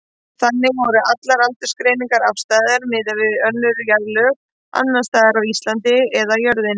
Þannig voru allar aldursgreiningar afstæðar miðað við önnur jarðlög, annars staðar á Íslandi eða jörðinni.